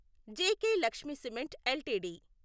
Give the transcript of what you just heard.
JK Lakshmi cement LTD